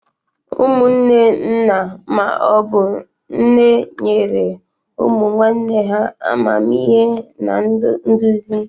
Ụmụnne nna ma obu nne nyere ụmụ nwanne ha amamihe na nduzi.